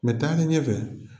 Mɛ taa ne ɲɛ fɛɛ.